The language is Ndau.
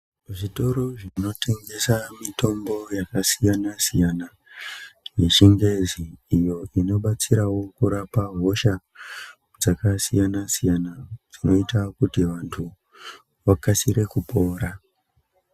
Zvitoro zvinotengesa mitombo yakasiyana siyana yechingezi, inobatsirawo kurapa hosha dzakasiyana siyana, dzinota kuti vantu vakasire kupora.